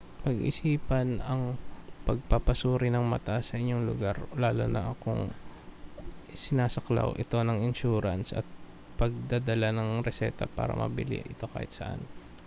pag-isipan ang pagpapasuri ng mata sa inyong lugar lalo na kung sinasaklaw ito ng insurance at ang pagdadala ng reseta para mabili ito kahit saan